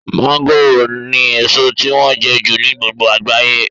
mọ́ngòròni èso tí wọ́n jẹ jù ní gbogbo àgbáyé